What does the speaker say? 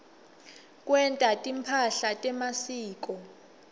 kwenta timphahla temasiko